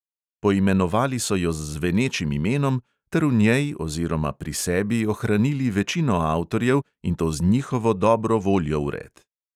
Poimenovali so jo z zvenečim imenom ter v njej oziroma pri sebi ohranili večino avtorjev in to z njihovo dobro voljo vred.